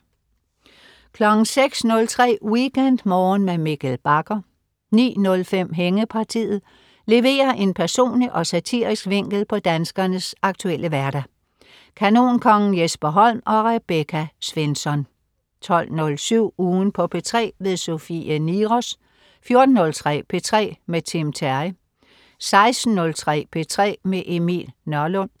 06.03 WeekendMorgen med Mikkel Bagger 09.05 Hængepartiet. Leverer en personlig og satirisk vinkel på danskernes aktuelle hverdag. Kanonkongen Jesper Holm og Rebecca Svensson 12.07 Ugen på P3. Sofie Niros 14.03 P3 med Tim Terry 16.03 P3 med Emil Nørlund